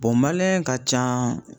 bɔn maliyɛn ka ca